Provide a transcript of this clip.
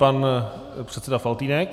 Pan předseda Faltýnek.